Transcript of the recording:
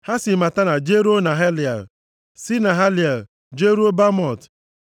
Ha si Matana jeruo Nahaliel, si Nahaliel jeruo Bamot.